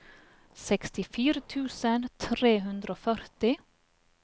sekstifire tusen tre hundre og førti